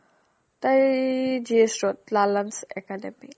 তাই ই GS road লালানচ academy